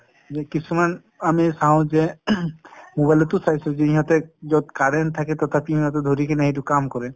কিছুমান আমি চাওঁ যে mobile টো চাইছো যি সিহঁতে যত current থাকে তথাপিও সিঁহতে ধৰি কিনে সেইটো কাম কৰে ।